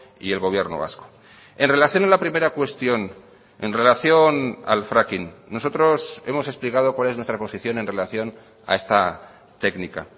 y el gobierno vasco en relación a la primera cuestión en relación al fracking nosotros hemos explicado cual es nuestra posición en relación a esta técnica